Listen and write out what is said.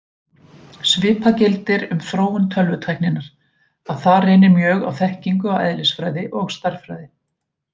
Svipað gildir um þróun tölvutækninnar, að þar reynir mjög á þekkingu á eðlisfræði og stærðfræði.